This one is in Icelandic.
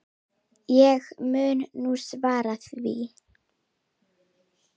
Ég mun nú svara því.